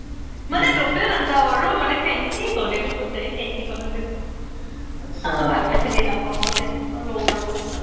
মানে য্তে নাজাও আৰু মানে fancy গ্'লে নো ক্'ত যাই fancy খনতে তাকো ভালকে চিনি নাপাও fancy খন মই লগৰ লগত যাও